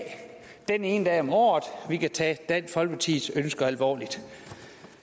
den ene dag om året vi kan tage dansk folkepartis ønsker alvorligt